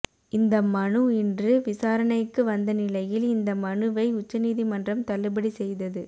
இந்த மனு இன்று விசாரணைக்கு வந்த நிலையில் இந்த மனுவை உச்சநீதிமன்றம் தள்ளுபடி செய்தது